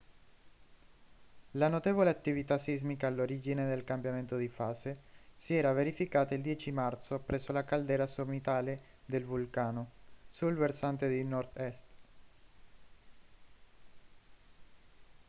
la notevole attività sismica all'origine del cambiamento di fase si era verificata il 10 marzo presso la caldera sommitale del vulcano sul versante di nord-est